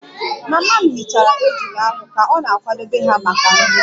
Mama m hichara ejula ahu ka ọ na-akwadebe ha maka nri